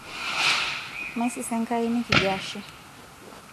maisisa Enkia nekijo ashe